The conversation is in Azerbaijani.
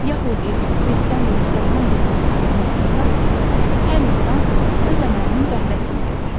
Yəhudi, Xristian və Müsəlman dindarlar inanırlar ki, hər insan öz əməlinin bəhrəsini görür.